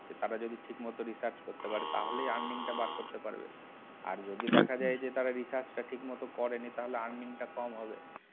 তারা যদি ঠিকমতো research করতে পারে তাহলে earning টা বার করতে পারবে আচ্ছা. আর যদি দেখা যায় যে তারা research টা ঠিকমতো করেনি তাহলে earning টা কম হবে